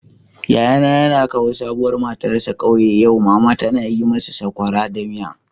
Yayana yana kawo sabuwar matarsa kauye yau. Mama tana yi musu sokora da miya.